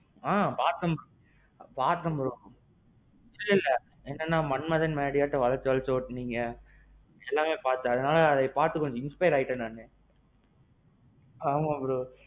ஆ. பாத்தேன் bro. பாத்தேன் bro. இல்லல்ல, மன்மதன் மடியாட்டோம் வளச்சு வளச்சு ஒட்டுனீங்க. எல்லாமே பாத்தேன், அது பாத்து கொஞ்சம் inspire ஆயிட்டேன் நானு. ஆமாம் bro.